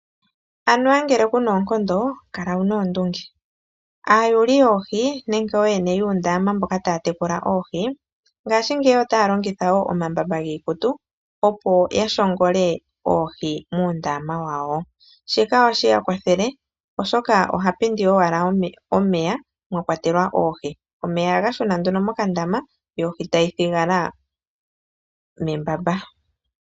Anuwa ngele kuna oonkondo kala wuna oondunge ,aayuli yoohi nenge oyene yuundama mboka taya tekula oohi ngaashi ngeyi otaya longitha wo omambamba giikutu opo yashongole oohi mundama wawo shika osheya kwathele oshoka oha pindi owala omeya mwakwatelwa oohi omeya ohaga shuna nduno mokandama yo ohi tayi thigala membamba.